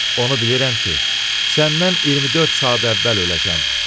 Onu bilirəm ki, səndən 24 saat əvvəl öləcəm.